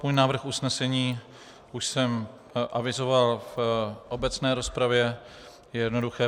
Svůj návrh usnesení už jsem avizoval v obecné rozpravě, je jednoduchý: